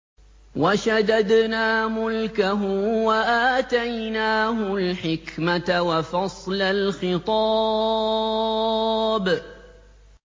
وَشَدَدْنَا مُلْكَهُ وَآتَيْنَاهُ الْحِكْمَةَ وَفَصْلَ الْخِطَابِ